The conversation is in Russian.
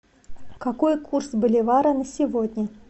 какой курс боливара на сегодня